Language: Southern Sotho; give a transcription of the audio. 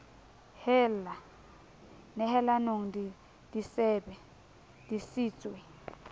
hella nehelanong di sebe disitswe